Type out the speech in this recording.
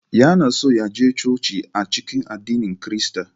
Yana so ya je coci a cikin addinin Kirista